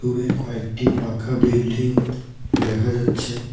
কয়েকটি পাখা বিল্ডিং দেখা যাচ্ছে।